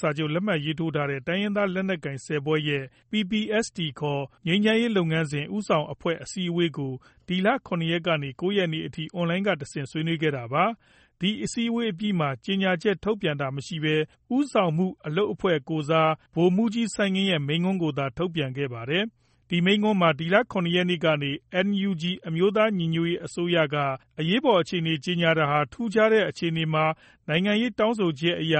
စာချုပ် လက်မှတ်ရေးထိုးထားတဲ့ တိုင်းရင်းသားလက်နက်ကိုင် ၁၀ ဖွဲ့ရဲ့ PPST ခေါ် ငြိမ်းချမ်းရေးလုပ်ငန်းစဉ် ဦးဆောင်အဖွဲ့အစည်းဝေးကို ဒီလ ၇ ရက်နေ့ကနေ ၉ရက်နေ့ထိ Online ကတဆင့် ဆွေးနွေးခဲ့တာပါ။ ဒီအစည်းအဝေးအပြီးမှာ ကြေညာချက် ထုတ်ပြန်တာမရှိဘဲ ဦးဆောင်မှုအလုပ်အဖွဲ့ကိုယ်စား ဗိုလ်မှုးကြီး စိုင်းငင်းရဲ့ မိန့်ခွန်းကိုသာ ထုတ်ပြန်ခဲ့ပါတယ်။ ဒီမိန့်ခွန်းမှာ ဒီလ ၇ ရက်နေ့က NUG အမျိုးသားညီညွတ်ရေးအစိုးရက အရေးပေါ်အခြေအနေကြေညာတာဟာ ထူးခြားတဲ့ အခြေအနေမှာ နိုင်ငံရေးတောင်းဆိုချက်အရ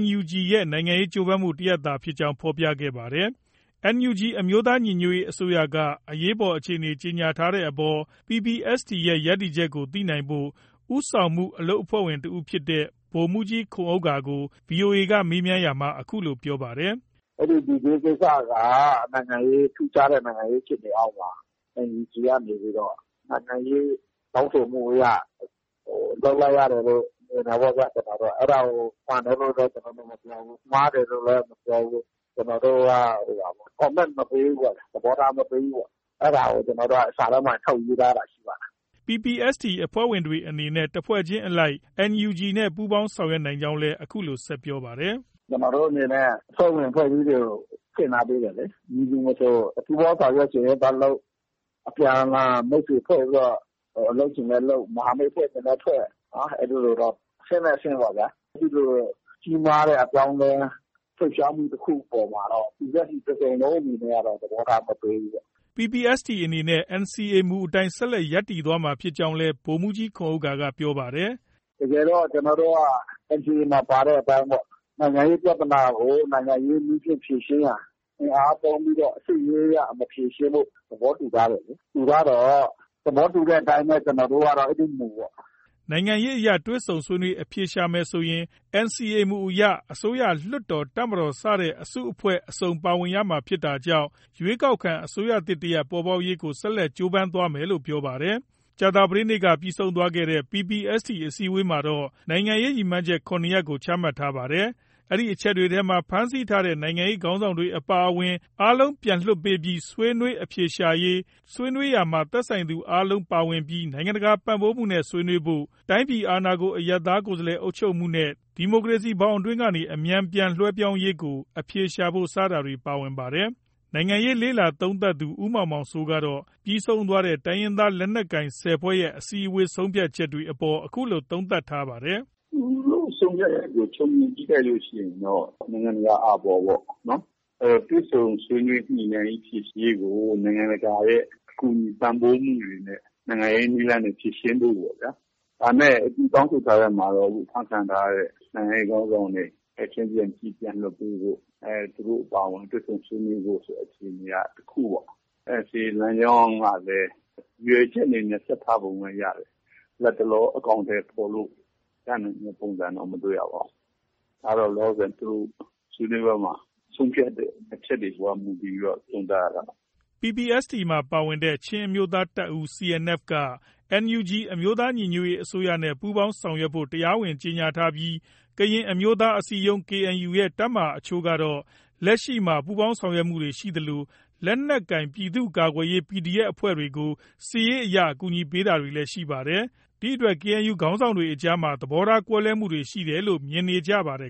NUG ရဲ့ နိုင်ငံရေးကြိုးပမ်းမှုတစ်ရပ်သာဖြစ်ကြောင်း ဖော်ပြခဲ့ပါတယ်။ NUG အမျိုးသားညီညွတ်ရေးအစိုးရက အရေးပေါ်အခြေအနေကြေညာတဲ့အပေါ် PPST ရဲ့ ရပ်တည်ချက်ကို သိနိုင်ဖို့ ဦးဆောင်မှုအလုပ်အဖွဲ့ဝင်တစ်ဦးဖြစ်တဲ့ ဗိုလ်မှုးကြီး ခွန်ဥက္ကာကို VOA မေးမြန်းရာမှာ အခုလို ပြောပါတယ်။ “အဲဒီ D Day ကိစ္စက ထူးခြားတဲ့ နိုင်ငံရေးဖြစ်စဉ်အောက်မှာ NUG ကနေပြီးတော့ နိုင်ငံရေး တောင်းဆိုမှုအရ လုပ်လိုက်ရတယ်လို့ မြင်တယ်ပေါ့ဗျာ။ ကျနော်တို့က အဲဒါကို မှန်တယ်လို့လည်း ကျနော်တို့ မပြောဘူး။ မှားတယ်လို့လည်း ကျနော်တို့ မပြောဘူး။ ကျနော်တို့က Comment မပေးဘူးပေါ့ဗျာ။ သဘောထားမပေးဘူးပေါ့။ အဲဒါကို ကျနော်တို့က စာထဲမှာ ထုတ်ရေးထားတာရှိပါတယ်။ ” PPST အဖွဲ့ဝင်တွေအနေနဲ့ တစ်ဖွဲ့ချင်းအလိုက် NUG နဲ့ ပူးပေါင်းဆောင်ရွက်နိုင်ကြောင်းလည်း အခုလို ဆက်လက်ပြောပါတယ်။ “ကျနော်တို့ အနေနဲ့ အဖွဲ့ဝင် အဖွဲ့အစည်းတွေကိုဖွင့် ထားပေးတယ်လေ။ မည်သူမဆို ပူးပေါင်းဆောင်ရွက်ချင်ရင်သွားလုပ်၊ အပြန်အလှန် မိတ်ဆွေဖွဲ့ပြီးတော့ လုပ်ချင်လည်းလုပ်၊ မဟာမိတ် ဖွဲ့ချင်လည်း ဖွဲ့၊ အဲဒီလိုတော့ အဆင့်လိုက်အဆင့်ပေါ့ဗျာ။ အဲဒီလို ကြီးမားတဲ့အပြောင်းအလဲ လှုပ်ရှားမှု တစ်ခုအပေါ်မှာတော့ PPST တစ်စုံလုံးအနေနဲ့ကတော့ သဘောထားမပေးဘူးပေါ့။” PPST အနေနဲ့ NCA မူအတိုင်း ဆက်လက်ရပ်တည်သွားမှာ ဖြစ်ကြောင်းလည်း ဗိုလ်မှုးကြီး ခွန်ဥက္ကာက ပြောပါတယ်။ “တကယ်တော့ ကျနော်တို့က NCA မှာ ပါတဲ့အတိုင်းပေါ့။ နိုင်ငံရေးပြဿနာကို နိုင်ငံရေးနည်းနဲ့ ဖြေရှင်းရန် အင်အားသုံးပြီး စစ်ရေးအရ မဖြေရှင်းဖို့ သဘောတူထားတယ်လေ။ တူထားတော့ သဘောတူတဲ့အတိုင်းပဲ ကျနော်တို့ကတော့ အဲဒီမူပေါ့။” နိုင်ငံရေးအရ တွေ့ဆုံဆွေးနွေးအဖြေရှာမယ်ဆိုရင် NCA မူအရ အစိုးရ၊ လွှတ်တော်၊ တပ်မတော် စတဲ့ အစုအဖွဲ့ အစုံပါဝင်ရမှာဖြစ်တာကြောင့် ရွေးကောက်ခံအစိုးရသစ်တရပ် ပေါ်ပေါက်ရေးကို ဆက်လက် ကြိုးပမ်းသွားမယ်လို့ ပြောပါတယ်။ ကြာသပတေးနေ့က ပြီးဆုံးသွားတဲ့ PPST အစည်းအဝေးမှာတော့ နိုင်ငံရေး ရည်မှန်းချက် ၇ ရပ်ကို ချမှတ်ထားပါတယ်။ အဲဒီအချက်တွေထဲမှာ ဖမ်းဆီးထားတဲ့ နိုင်ငံရေးခေါင်းဆောင်တွေအပါအဝင် အားလုံးပြန် လွှတ်ပေးပြီး ဆွေးနွေးအဖြေရှာရေး၊ ဆွေးနွေးရာမှာ သက်ဆိုင်သူအားလုံးပါဝင်ပြီး နိုင်ငံတကာပံ့ပိုးမှုနဲ့ ဆွေးနွေးဖို့၊ တိုင်းပြည်အာဏာကို အရပ်သားကိုယ်စားလှယ်အုပ်ချုပ်မှုနဲ့ ဒီမိုကရေစီဘောင်အတွင်းကနေ အမြန် ပြန်လွဲှပြောင်းရေး ကို အဖြေရှာဖို့ စတာတွေ ပါဝင်ပါတယ်။ နိုင်ငံရေးလေ့လာသုံးသပ်သူ ဦးမောင်မောင်စိုးကတော့ ပြီးဆုံးသွားတဲ့ တိုင်းရင်းသားလက်နက်ကိုင် ၁၀ ဖွဲ့ရဲ့ အစည်းအဝေးဆုံးဖြတ်ချက်တွေ အပေါ် အခုလို သုံးသပ်ထားပါတယ်။ “ သူတို့ ဆုံးဖြတ်ချက်ကို ခြုံငုံကြည့်လိုက်လို့ ရှိရင်တော့ နိုင်ငံတကာ အာဘော်ပေါ့။ တွေ့ဆုံညှိနှိုင်းဖြေရှင်းရေးကို နိုင်ငံတကာရဲ့ ကူညီပံ့ပိုးမှုတွေနဲ့ နိုင်ငံရေးနည်းလမ်းနဲ့ ဖြေရှင်းဖို့ပေါ့ဗျာ။ ဒါပေမဲ့ သူတောင်းဆိုထားတဲ့အထဲမှာတော့ အခု အဖမ်းခံထားရတဲ့ နိုင်ငံရေးခေါင်းဆောင်တွေ ချက်ချင်း ပြန်လွှတ်ပေးဖို့၊ သူတို့အပါအဝင်တွေ့ဆုံဆွေးနွေးဖို့ ဆိုတဲ့ အခြေအနေက တစ်ခုပေါ့။ ဒါပေမဲ့ NCA လမ်းကြောင်းကလည်း ရည်ရွယ်ချက်အနေနဲ့ ဆက်ထားပုံတော့ ရတယ်။ လတ်တလော အကောင်အထည်ဖော်လို့ ရနိုင်တဲ့ ပုံစံတော့ မတွေ့ရပါဘူး။ ဒါတော့ သူတို့ ဆွေးနွေးပွဲမှာ ဆုံးဖြတ်တဲ့ အချက်တွေအပေါ် မူတည်ပြီး သုံးသပ်ရတာပေါ့။” PPST မှာ ပါဝင်တဲ့ချင်းအမျိုးသားတပ်ဦး CNF က NUG အမျိုးသားညီညွတ်ရေးအစိုးရနဲ့ ပူးပေါင်းဆောင်ရွက်ဖို့ တရားဝင် ကြေညာထားပြီး ကရင်အမျိုးသားအစည်းအရုံး KNU ရဲ့ တပ်မဟာအချို့ကတော့ လက်ရှိမှာ ပူးပေါင်းဆောင်ရွက်မှုတွေ ရှိသလို လက်နက်ကိုင်ပြည်သူ့ကာကွယ်ရေး PDF အဖွဲ့တွေကို စစ်ရေးအရ အကူအညီပေးနေတာတွေ ရှိပါတယ်။ ဒီ့အတွက် KNU ခေါင်းဆောင်တွေကြား သဘောထားကွဲမှုတွေရှိတယ်လို့ မြင်နေရပါတယ်